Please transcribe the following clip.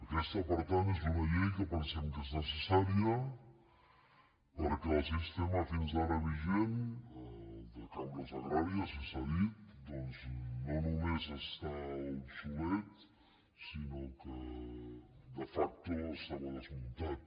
aquesta per tant és una llei que pensem que és necessària per·què el sistema fins ara vigent el de cambres agràries i s’ha dit doncs no només està obsolet sinó que de facto estava desmuntat